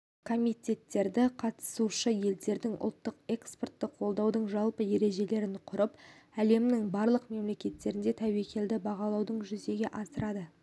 комитеттері қатысушы елдерінің ұлттық экспортты қолдаудың жалпы ережелерін құрып әлемнің барлық мемлекеттерінің тәуекелді бағалауын жүзеге асырады